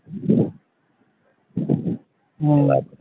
হম